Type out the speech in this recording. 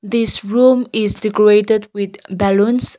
this room is decorated with balloons.